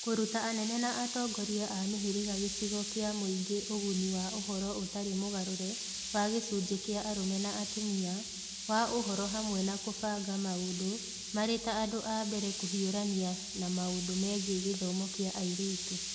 Kũruta anene na atongoria a mĩhĩrĩgaa gĩcigo kĩa mũingĩ ũguni wa ũhoro ũtarĩ mũgarũre wa gĩcunjĩ kĩa arũme na atumia, wa ũhoro hamwe na kũbanga maũndũ marĩ ta andũ a mbere kũhiũrania na maũndũ megiĩ gĩthomo kĩa airĩtu